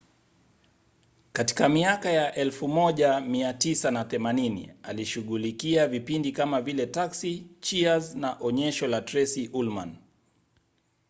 katika miaka ya 1980 alishughulikia vipindi kama vile taxi cheers na onyesho la tracy ullman